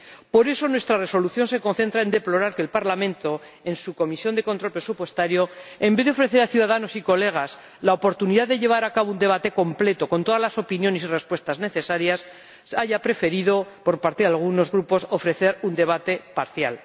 Por eso nuestra Resolución se concentra en deplorar que el Parlamento, en su Comisión de Control Presupuestario, en vez de ofrecer a ciudadanos y colegas la oportunidad de llevar a cabo un debate completo con todas las opiniones y respuestas necesarias, haya preferido, por parte de algunos Grupos, ofrecer un debate parcial.